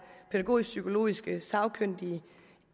pædagogisk psykologiske sagkyndige